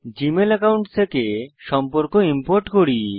Gmail account থেকে সম্পর্ক import করি